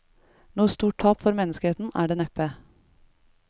Noe stort tap for menneskeheten er det neppe.